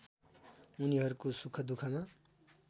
उनीहरूको सुखदुःखमा